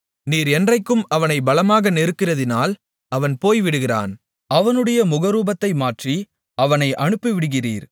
நீர் என்றைக்கும் அவனைப் பலமாக நெருக்குகிறதினால் அவன் போய்விடுகிறான் அவனுடைய முகரூபத்தை மாற்றி அவனை அனுப்பிவிடுகிறீர்